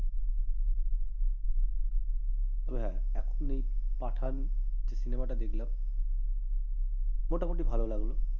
তবে হ্যাঁ এখন এই পাঠান যে cinema টা দেখলাম মোটামোটি ভাল লাগল।